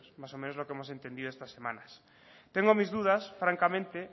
más o menos lo que hemos entendido estas semanas tengo mis dudas francamente